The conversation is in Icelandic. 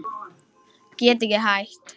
Get ekki hætt.